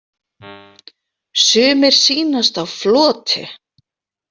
Sumir sýnast á floti.